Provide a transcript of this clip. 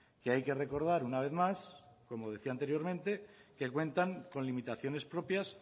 que hay que recordar una vez más como decía anteriormente que cuentan con limitaciones propias